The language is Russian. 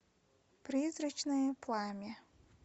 призрачное пламя